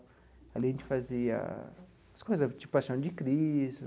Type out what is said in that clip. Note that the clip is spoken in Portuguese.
Ali a gente fazia as coisas, tipo paixão de Cristo.